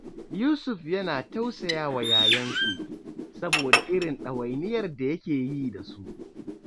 Yusuf yana tausaya wa yayansu, saboda irin ɗawainiyar da yake yi da su